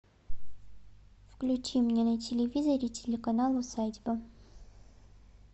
включи мне на телевизоре телеканал усадьба